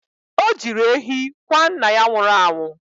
O jiri ehi kwa nna ya nwụrụ anwụ.